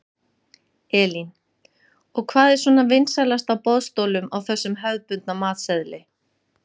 Elín: Og hvað er svona vinsælast á boðstólum á þessum hefðbundna matseðli?